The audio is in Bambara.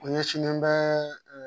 O ɲɛsinnen bɛ ɛɛ